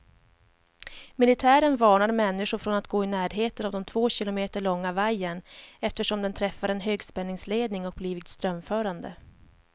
Militären varnar människor från att gå i närheten av den två kilometer långa vajern, eftersom den träffat en högspänningsledning och blivit strömförande.